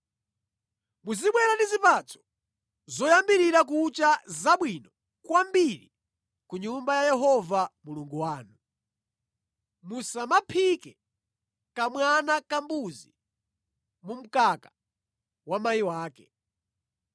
“Muzibwera ndi zipatso zoyambirira kucha zabwino kwambiri ku Nyumba ya Yehova Mulungu wanu. “Musamaphike kamwana kambuzi mu mkaka wa mayi wake.